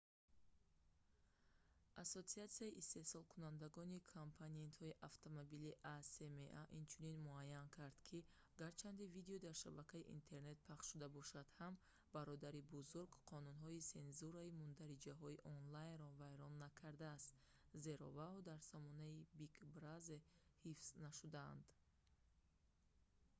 ассотсиатсияи истеҳсолкунандагони компонентҳои автомобилӣ acma инчунин муайян кард ки гарчанде видео дар шабакаи интернет пахш шуда бошад ҳам бародари бузург қонунҳои сензураи мундариҷаҳои онлайнро вайрон накардаст зеро вао дар сомонаи big brother ҳифз нашудаанд